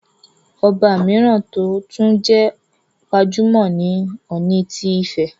Ọba mìíràn tó tún jẹ́ gbajúmọ̀ ni Ọọ̀ni ti Ifẹ̀,